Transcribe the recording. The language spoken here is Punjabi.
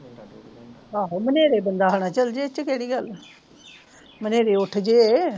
ਆਹੋ ਹਨਰੇ ਬੰਦਾ ਆਹਾ ਚਲ ਜਾਵੇ ਇਦੇ ਵਿਚ ਕਿਹੜੀ ਗੱਲ ਹਨਰੇ ਉੱਠ ਜੇ